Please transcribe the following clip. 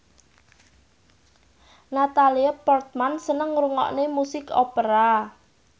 Natalie Portman seneng ngrungokne musik opera